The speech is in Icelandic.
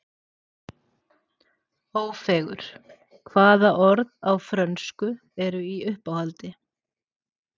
Ófeigur: Hvaða orð á frönsku eru í uppáhaldi?